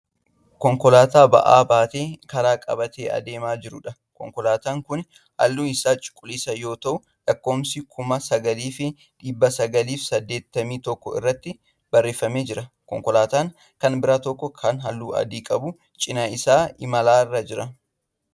Konkolaataa ba'a baatee karaa qabatee deemaa jiruudha. konkolaataan Kuni halluun Isaa cuquliisa yoo ta'u lakkoofsi kuma sagaliif dhibba sagaliif saddeettamii tokko irratti barreeffamee jira. konkolaataan Kan biraa tokko Kan halluu adii qabu cinaa isaan imalarra Jira.